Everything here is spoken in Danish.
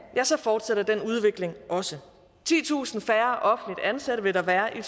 ja så fortsætter den udvikling også titusind færre offentligt ansatte vil der være i